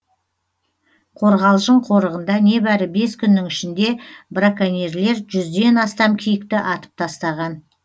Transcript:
қорғалжың қорығында небәрі бес күннің ішінде браконьерлер жүзден астам киікті атып тастаған